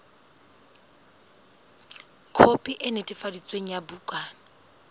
khopi e netefaditsweng ya bukana